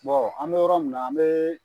an bɛ yɔrɔ min na an bɛ